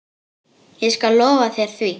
Ég skal lofa þér því.